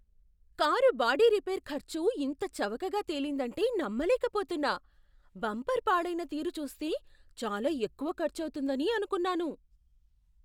Car body repair ఖర్చు ఇంత చవకగా తేలిందంటే నమ్మలేకపోతున్నా! బంపర్ పాడైన తీరు చూస్తే చాలా ఎక్కువ ఖర్చవుతుందని అనుకున్నాను.